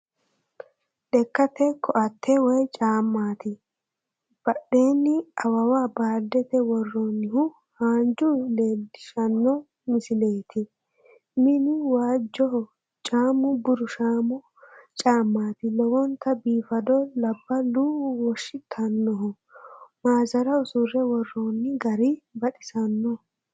Lekkate koaatte wou caammati. badheenni awawa baaldete worroonnihu haanju leellishshanno misileeti mini waajjoho caammu burushaamo caammaati lowonta biifado labballu woshitannoho maazara usurre worroonnigari baxisanno.